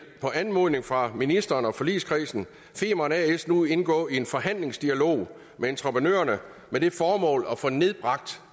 på anmodning fra ministeren og forligskredsen nu indgå i en forhandlingsdialog med entreprenørerne med det formål at få nedbragt